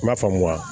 I m'a faamu wa